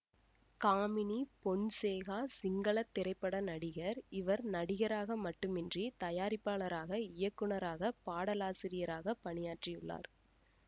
காமினி பொன்சேகா சிங்கள திரைப்பட நடிகர் இவர் நடிகராக மட்டுமின்றி தயாரிப்பாளராக இயக்குனராக பாடலாசிரியராக பணியாற்றியுள்ளார்